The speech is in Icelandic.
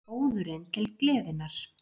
ÓÐURINN TIL GLEÐINNAR